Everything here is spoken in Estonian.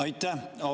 Aitäh!